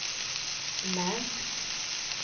märks